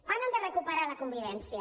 parlen de recuperar la convivència